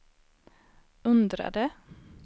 undrade